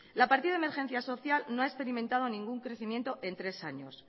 la partida de emergencia social no ha experimentado ningún crecimiento en tres años